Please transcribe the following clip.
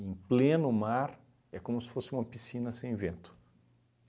Em pleno mar, é como se fosse uma piscina sem vento.